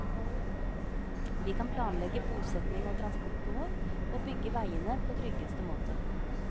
Vi kan planlegge bosetning og transportbehov og bygge veiene på tryggeste måte.